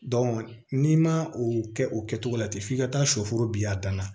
n'i ma o kɛ o kɛcogo la ten f'i ka taa sɔ foro biy'a dan na